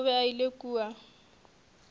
o be a ile kua